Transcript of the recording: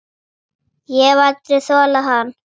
Ég hef aldrei þolað hann.